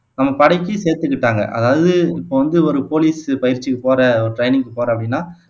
நம்ம படைக்கு சேர்த்துக்கிட்டாங்க அதாவது இப்போ வந்து ஒரு போலீஸ் பயிற்சிக்கு போற ஒரு ட்ரைனிங்குக்கு போற அப்படின்னா